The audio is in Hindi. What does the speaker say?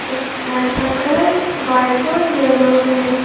इस घर का कलर व्हाइट और येलो है।